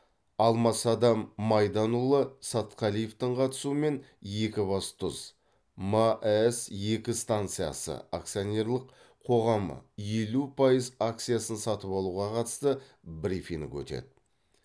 алмасадам майданұлы сатқалиевтің қатысуымен екібастұз маэс екі станциясы акционерлік қоғамы елу пайыз акциясын сатып алуға қатысты брифинг өтеді